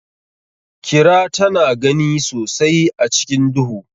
Kira tana gani sosai a cikin duhu.